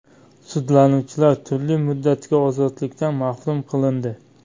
Sudlanuvchilar turli muddatga ozodlikdan mahrum qilindi.